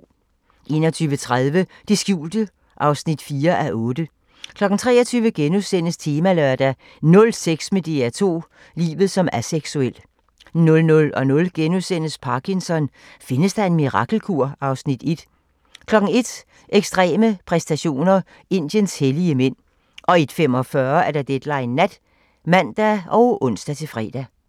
21:30: Det skjulte (4:8) 23:00: Temalørdag: Nul sex med DR2 – livet som aseksuel * 00:00: Parkinson: Findes der en mirakelkur? (Afs. 1)* 01:00: Ekstreme præstationer: Indiens hellige mænd 01:45: Deadline Nat (man og ons-fre)